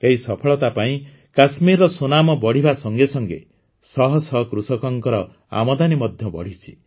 ଏହି ସଫଳତା ପାଇଁ କାଶ୍ମୀରର ସୁନାମ ବଢ଼ିବା ସଙ୍ଗେ ସଙ୍ଗେ ଶହଶହ କୃଷକଙ୍କ ଆମଦାନୀ ମଧ୍ୟ ବଢ଼ିଛି